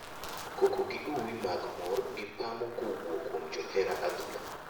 Koko gi uwi mag mor gi pamo kowuok kuom johera adhula.